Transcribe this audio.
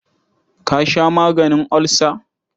Ka sha maganin ulcer?